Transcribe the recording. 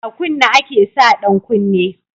A kunne ake sa ɗan kunne